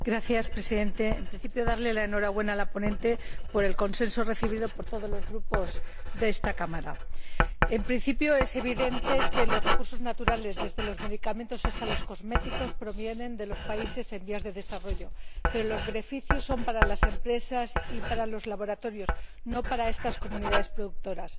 Señor Presidente, quiero darle la enhorabuena a la ponente por el consenso logrado por todos los Grupos de esta Cámara. Es evidente que los recursos naturales, desde los medicamentos hasta los cosméticos, provienen de los países en desarrollo, pero los beneficios son para las empresas y para los laboratorios, no para estas comunidades productoras.